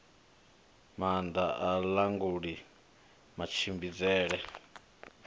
maanda a i languli matshimbidzele